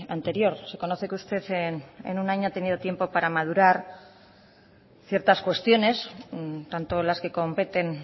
anterior se conoce que usted en un año ha tenido tiempo para madurar ciertas cuestiones tanto las que competen